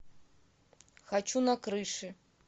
хочу на крыши